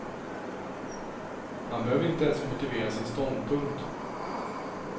Han behöver inte ens motivera sin ståndpunkt.